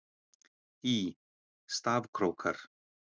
Í: Stafkrókar.